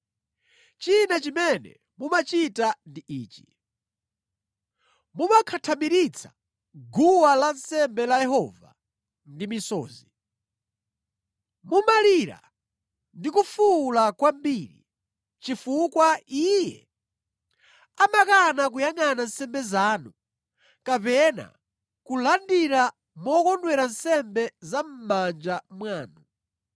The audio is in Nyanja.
China chimene mumachita ndi ichi: Mumakhathamiritsa guwa lansembe la Yehova ndi misozi. Mumalira ndi kufuwula kwambiri chifukwa Iye amakana kuyangʼana nsembe zanu, kapena kulandira mokondwera nsembe za mʼmanja mwanu.